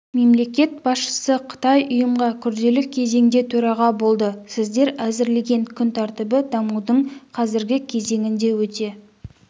мемлекет басшысы қытай ұйымға күрделі кезеңде төраға болды сіздер әзірлеген күн тәртібі дамудың қазіргі кезеңінде өте